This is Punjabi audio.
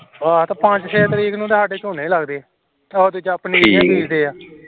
ਆਹੋ ਸਾਡੇ ਪੰਜ ਛੇ ਤਰੀਕ ਨੂੰ ਸਾਡੇ ਝੋਨੇ ਲਗਦੇ ਏ ਓਦੇ ਵਿਚ ਆਪਣੀ ਪਨੀਰੀ ਬੀਜਦੇ ਏ